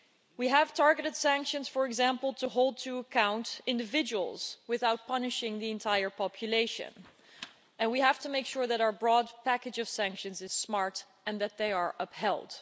We have targeted sanctions, for example, to hold to account individuals without punishing the entire population, and we have to make sure that our broad package of sanctions is smart and that they are upheld.